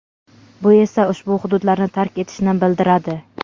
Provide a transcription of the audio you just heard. bu esa ushbu hududlarni tark etishni bildiradi.